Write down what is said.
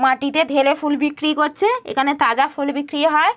মাটিতে ঢেলে ফুল বিক্রি করছে এখানে তাজা ফুল বিক্রি হয়।